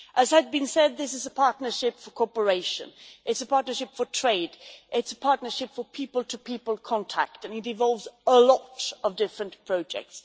As was said, this is a partnership for cooperation, it is a partnership for trade, it is a partnership for people to people contact, and it involves a lot of different projects.